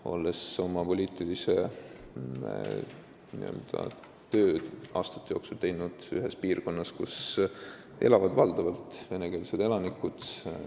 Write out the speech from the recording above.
Olen oma n-ö poliitiliste aastate jooksul töötanud ühes piirkonnas, kus elavad valdavalt venekeelsed elanikud.